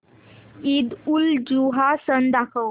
ईदउलजुहा सण दाखव